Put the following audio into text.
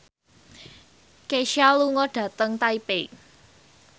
Kesha lunga dhateng Taipei